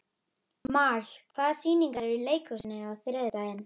Maj, hvaða sýningar eru í leikhúsinu á þriðjudaginn?